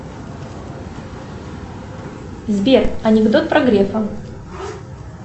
сбер анекдот про грефа